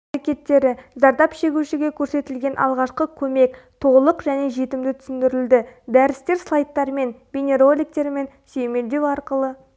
әрекеттері зардап шегушіге көрсетілетін алғашқы көмек толық және жетімді түсіндірілді дәрістер слайдттармен бейнероликтермен сүйемелдеу арқылы